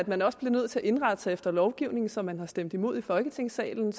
man også bliver nødt til at indrette sig efter lovgivning som man har stemt imod i folketingssalen